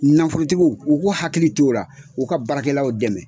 Nanfolotigiw u k'u hakili to o ra , u ka baarakɛlaw dɛmɛ.